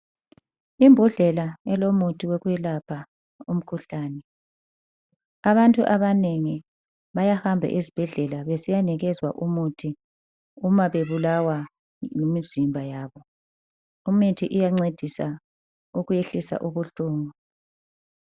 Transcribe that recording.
Imbodlela elomuthi wokwelapha umkhuhlane. Abantu abanengi bayahamba ezibhedlela besiyanikezwa umuthi uma bebulawa yimizimba yabo. Imithi iyancedisa ukwehlisa ubuhlungu.